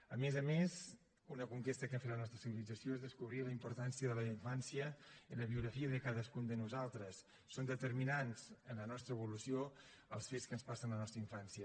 a més a més una conquesta que ha fet la nostra civilització és descobrir la importància de la infància en la biografia de cadascun de nosaltres són determinants en la nostra evolució els fets que ens passen en la nostra infància